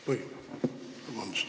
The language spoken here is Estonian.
Vabandust!